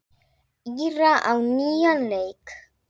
Íra á nýjan leik.